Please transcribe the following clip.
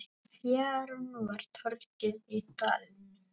Fjaran var torgið í dalnum.